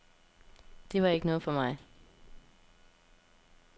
Det var ikke noget for mig.